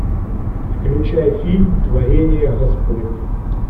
включай фильм творение господне